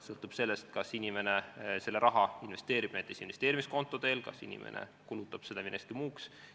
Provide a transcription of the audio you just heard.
Sõltub sellest, kas inimene selle raha investeerib näiteks investeerimiskonto abil või kas ta kulutab selle millekski muuks.